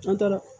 An tora